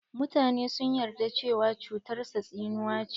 Mutane sun yarda cewa cutar sa tsinuwa ce.